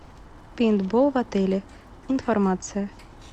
пейнтбол в отеле информация